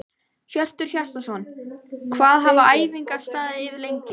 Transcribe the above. Hjörtur Hjartarson: Hvað hafa æfingar staðið yfir lengi?